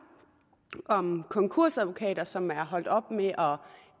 om konkursadvokater som er holdt op med at